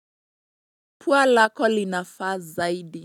Pua lako linafaa zaidi.